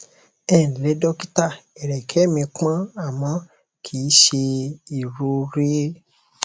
ẹǹlẹ dọkítà ẹrẹkẹ mi pọn àmọ kì í ṣe ìrọrẹ